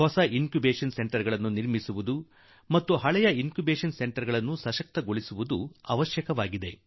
ಹೊಸ incubation centre ನ ಸ್ಥಾಪನೆಯ ಅಗತ್ಯವಿದೆ ಹಾಗೂ ಹಳೆಯ ಇನ್ ಕ್ಯೂಬೇಷನ್ ಸೆಂಟರ್ ಗೆ ಸಾಮಥ್ರ್ಯ ಒದಗಿಸುವ ಅವಶ್ಯಕತೆಯೂ ಇದೆ